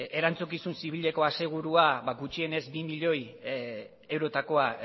erantzukizun zibileko asegurua ba gutxienez bi milioi eurotakoa